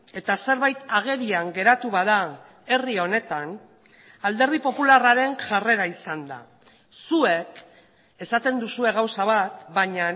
eta zerbait agerian geratu bada herri honetan alderdi popularraren jarrera izan da zuek esaten duzue gauza bat baina